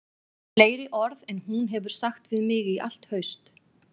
Fleiri orð en hún hefur sagt við mig í allt haust